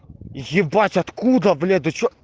ебать откуда блять да чё